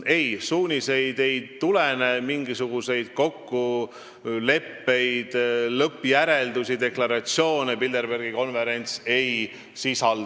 Ei, suuniseid ei tulene, mingisuguseid kokkuleppeid, lõppjäreldusi või deklaratsioone Bilderbergi konverentsil ei tehta.